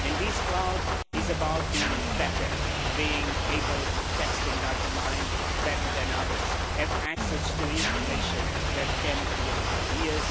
This cloud is about being better, being able to mine text and data better than others, and having access to information that can create ideas.